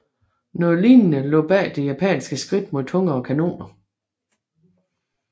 Noget lignende lå bag det japanske skridt mod tungere kanoner